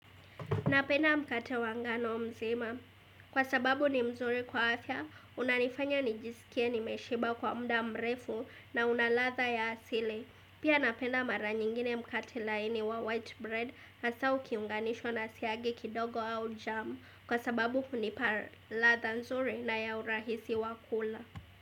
Napenda mkate wangano mzima. Kwa sababu ni mzuri kwa afya, unanifanya nijisikie nimeshiba kwa mda mrefu na unalatha ya asili. Pia napenda mara nyingine mkate laini wa white bread na hasa ukiunganishwa nasiagi kidogo au jamu. Kwa sababu huni pa latha nzuri na ya urahisi wakula.